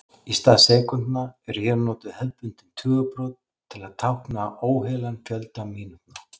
Í stað sekúndna eru hér notuð hefðbundin tugabrot til að tákna óheilan fjölda mínútna.